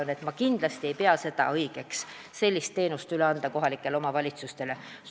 Ma ei pea kindlasti õigeks, kui sellised teenused antaks üle kohalikele omavalitsustele.